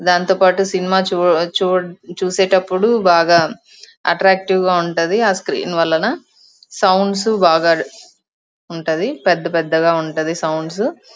దాంతోపాటు సినిమా చు చు చూసేటప్పుడు బాగా అట్ట్రాక్టీవ్ గ ఉంటది ఆ స్క్రీన్ వలన సౌండ్స్ బాగా ఉంటది పెద్ద పెద్దగ ఉంటది సౌండ్స్ --